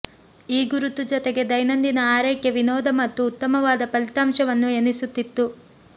ಈ ಗುರುತು ಜೊತೆಗೆ ದೈನಂದಿನ ಆರೈಕೆ ವಿನೋದ ಮತ್ತು ಉತ್ತಮವಾದ ಫಲಿತಾಂಶವನ್ನು ಎನಿಸುತ್ತಿತ್ತು